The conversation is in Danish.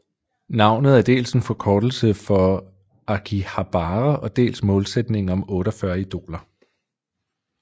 Navnet er dels en forkortelse for Akihabara og dels målsætningen om 48 idoler